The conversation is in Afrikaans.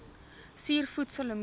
suur voedsel lemoene